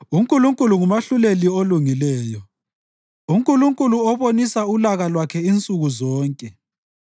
UNkulunkulu ngumahluleli olungileyo, uNkulunkulu obonisa ulaka lwakhe insuku zonke.